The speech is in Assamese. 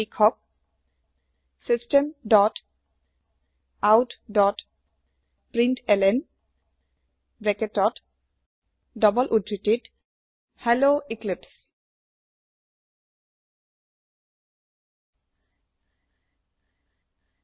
লিখক systemoutপ্ৰিণ্টলন হেল্ল এক্লিপছে